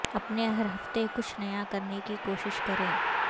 اپنے ہر ہفتے کچھ نیا کرنے کی کوشش کریں